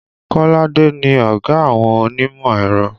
Kolade ni ọ̀gá àwọn onímọ̀ ẹ̀rọ